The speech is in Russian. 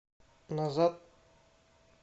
назад